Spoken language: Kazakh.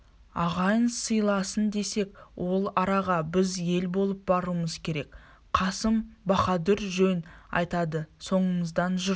ағайын сыйласын десек ол араға біз ел болып баруымыз керек қасым баһадур жөн айтады соңымыздан жұрт